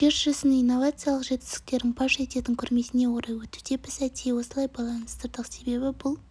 жер жүзінің инновациялық жетістіктерін паш ететін көрмесіне орай өтуде біз әдейі осылай байланыстырдық себебі бұл